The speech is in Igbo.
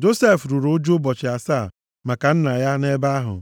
Josef ruru ụjụ ụbọchị asaa maka nna ya nʼebe ahụ.